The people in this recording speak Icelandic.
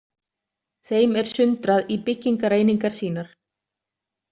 Þeim er sundrað í byggingareiningar sínar.